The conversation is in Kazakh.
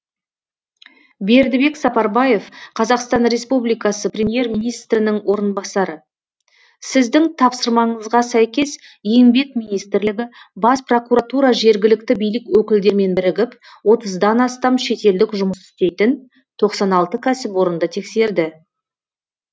бердібек сапарбаев қазақстан республикасы премьер министрінің орынбасары сіздің тапсырмаңызға сәйкес еңбек министрлігі бас прокуратура жергілікті билік өкілдерімен бірігіп отыздан астам шетелдік жұмыс істейтін тоқсан алты кәсіпорынды тексерді